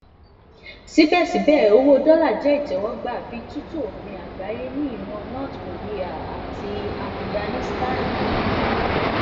sibẹsibẹ owo dolla jẹ itẹwọgba bi tutu ofin agbaye ni iran north korea ati afiganisitani